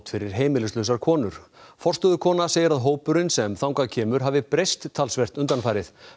fyrir heimilislausar konur forstöðukona segir að hópurinn sem þangað kemur hafi breyst talsvert undanfarið